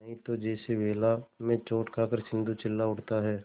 नहीं तो जैसे वेला में चोट खाकर सिंधु चिल्ला उठता है